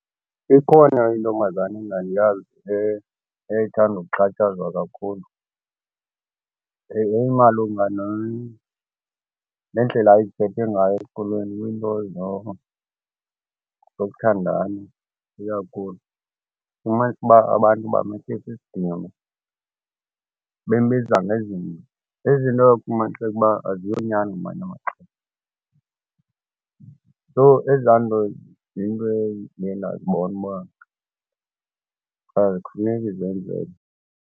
Ikhona intombazana endandiyazi eyayithanda ukuxhatshazwa kakhulu. Yayimalunga nendlela awyeziphethe ngayo esikolweni kwiinto zokuthandana ikakhulu. Ufumanise uba abantu bamhlisa isidima bembiza ngezinto. Izinto oye ufumanise uba aziyonyani ngamanye amaxesha. So, ezaa nto ziinto endiye ndazibona uba azifuneki zenzeke.